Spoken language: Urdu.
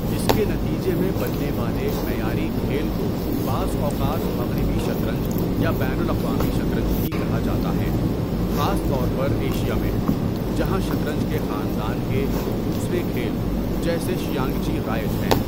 اس کے نتیجے میں بننے والے معیاری کھیل کو بعض اوقات مغربی شطرنج یا بین الاقوامی شطرنج بھی کہا جاتا ہے، خاص طور پر ایشیا میں جہاں شطرنج کے خاندان کے دوسرے کھیل جیسے شیانگچی رائج ہیں۔